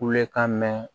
Kulekan mɛn